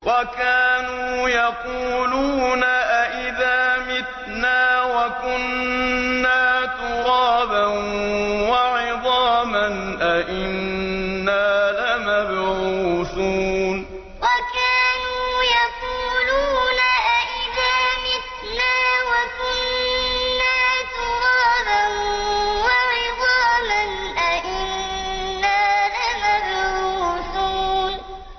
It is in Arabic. وَكَانُوا يَقُولُونَ أَئِذَا مِتْنَا وَكُنَّا تُرَابًا وَعِظَامًا أَإِنَّا لَمَبْعُوثُونَ وَكَانُوا يَقُولُونَ أَئِذَا مِتْنَا وَكُنَّا تُرَابًا وَعِظَامًا أَإِنَّا لَمَبْعُوثُونَ